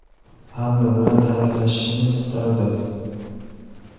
Hamma bilan xayrlashishni istardim.